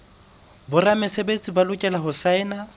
boramesebetsi ba lokela ho saena